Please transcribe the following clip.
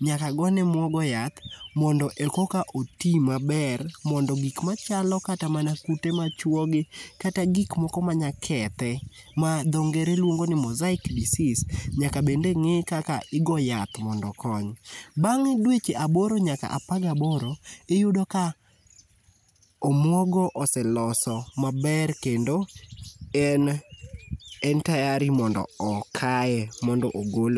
nyaka gone muogo yath mondo ekaka oti maber mondo gik machalo kata mana kute machuogi kata gik mok manyalo kethe ma dho ngere luongo ni mosaic disease, nyaka bende ng'i kaka igo yath mondo okony. Bang'dweche aboro nyaka apar gaBORO, iyudo ka omuogo ose loso maber kendo en tayari m,ondo okaye mondo ogol